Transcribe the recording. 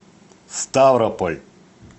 ставрополь